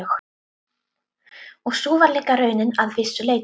Og sú var líka raunin að vissu leyti.